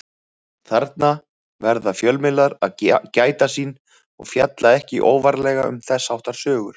Þarna verða fjölmiðlar að gæta sín og fjalla ekki óvarlega um þess háttar sögur.